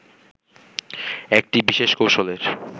একটি বিশেষ কৌশলের